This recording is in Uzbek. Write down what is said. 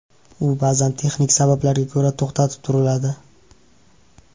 U ba’zan texnik sabablarga ko‘ra to‘xtatib turiladi.